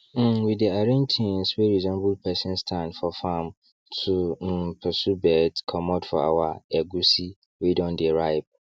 um we dey arrange things wey resemble person stand for farm to um pursue birds comot for our egusi wey don dey ripe